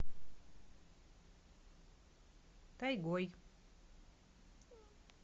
тайгой